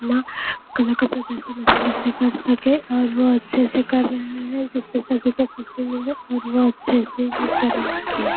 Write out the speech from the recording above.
ना कला का प्रदर्शन अच्छे से कर सके और वो अच्छे से कर रहे है जिससे सभी को ख़ुशी मिले और वह अच्छे से ही करेंगे।